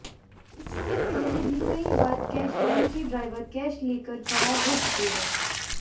इससे पहले भी कई बार कैशवैन के ड्राइवर कैश लेकर फरार हो चुके हैं